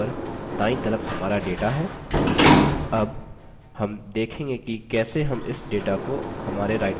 अब हम देखेंगे कि कैसे हम इस data को हमारे writer document में इस्तेमाल कर सकते हैं